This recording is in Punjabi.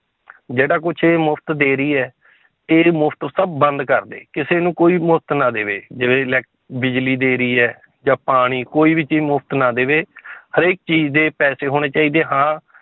ਜਿਹੜਾ ਕੁਛ ਇਹ ਮੁਫ਼ਤ ਦੇ ਰਹੀ ਹੈ ਇਹ ਮੁਫ਼ਤ ਸਭ ਬੰਦ ਕਰ ਦੇ ਕਿਸੇ ਨੂੰ ਕੋਈ ਮੁਫ਼ਤ ਨਾ ਦੇਵੇ ਜਿਵੇਂ ਇਲੈਕ~ ਬਿਜ਼ਲੀ ਦੇ ਰਹੀ ਹੈ, ਜਾਂ ਪਾਣੀ ਕੋਈ ਵੀ ਚੀਜ਼ ਮੁਫ਼ਤ ਨਾ ਦੇਵੇ ਹਰੇਕ ਚੀਜ਼ ਦੇ ਪੈਸੇ ਹੋਣੇ ਚਾਹੀਦੇ ਹਾਂ